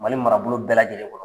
Mali marabolo bɛɛ lajɛlen kɔnɔ